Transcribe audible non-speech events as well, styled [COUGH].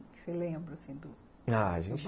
O que você lembra assim do, [UNINTELLIGIBLE] ah, a gente [UNINTELLIGIBLE]